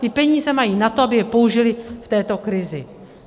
Ty peníze mají na to, aby je použily v této krizi.